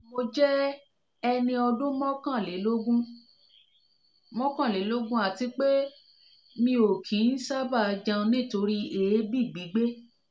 mo jẹ́ ẹni ọún mọ́kànlélógún mọ́kànlélógún àti pé mi ò kih ń sáábà jẹun nítorí èébì gbígbé